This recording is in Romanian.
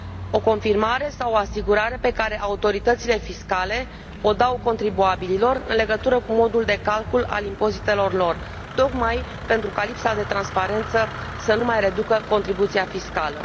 o confirmare sau o asigurare pe care autoritățile fiscale o dau contribuabililor în legătură cu modul de calcul al impozitelor lor, tocmai pentru ca lipsa de transparență să nu mai reducă contribuția fiscală.